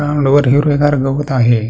चांगल वर हिरवगार गवत आहे.